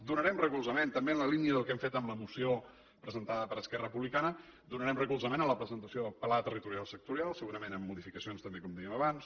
donarem recolzament també en la línia del que hem fet amb la moció presentada per esquerra republicana a la presentació del pla territorial sectorial segurament amb modificacions també com dèiem abans